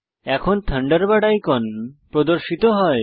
এখন Thunderbird icon প্রদর্শিত হয়